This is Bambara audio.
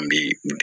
An bɛ